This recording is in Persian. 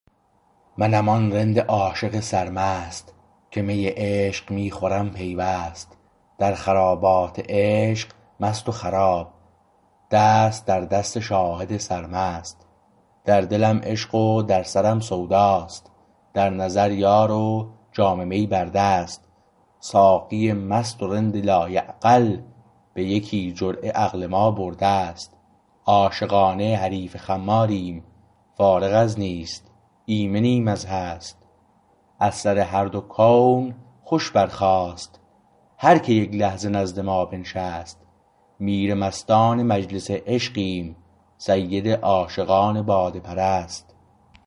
منم آن رند عاشق سرمست که می عشق می خورم پیوست در خرابات عشق مست و خراب دست در دست شاهد سرمست در دلم عشق و در سرم سود است در نظر یار و جام می بر دست ساقی مست و رند لایعقل به یکی جرعه عقل ما برده است عاشقانه حریف خماریم فارغ از نیست ایمنیم از هست از سر هر دو کون خوش برخاست هر که یک لحظه نزد ما بنشست میر مستان مجلس عشقیم سید عاشقان باده پرست